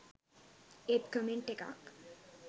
ඒත් කමෙන්ට් එකක්